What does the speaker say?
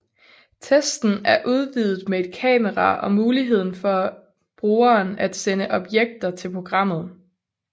Testen er udvidet med et kamera og muligheden for brugeren at sende objekter til programmet